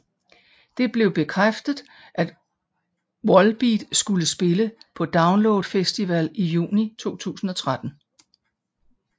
Det blev bekræftet at Volbeat skulle spille på Download festival i juni 2013